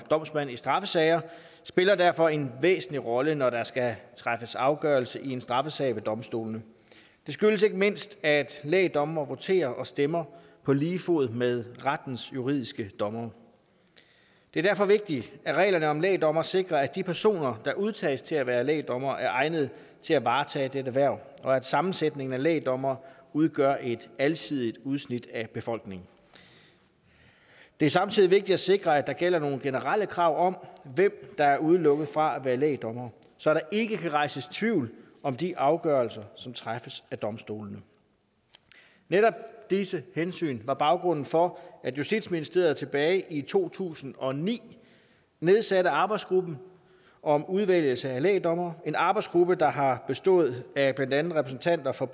domsmænd i straffesager spiller derfor en væsentlig rolle når der skal træffes afgørelse i en straffesag ved domstolene det skyldes ikke mindst at lægdommere voterer og stemmer på lige fod med rettens juridiske dommere det er derfor vigtigt at reglerne om lægdommere sikrer at de personer der udtages til at være lægdommere er egnede til at varetage dette hverv og at sammensætningen af lægdommere udgør et alsidigt udsnit af befolkningen det er samtidig vigtigt at sikre at der gælder nogle generelle krav om hvem der er udelukket fra at være lægdommere så der ikke kan rejses tvivl om de afgørelser som træffes af domstolene netop disse hensyn var baggrunden for at justitsministeriet tilbage i to tusind og ni nedsatte arbejdsgruppen om udvælgelse af lægdommere en arbejdsgruppe der har bestået af blandt andet repræsentanter for